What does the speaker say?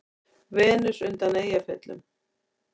Venus undan Eyjafjöllum?